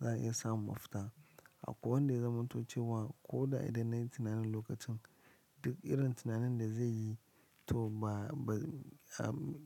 za a iya samun mafita. Akwai wanda ya zamanto cewa ko da idan nayi tunanin lokacin duk irin tunanin da zai yi to ba, ba